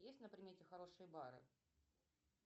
есть на примете хорошие бары